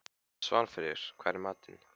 Svanfríður, hvað er í matinn?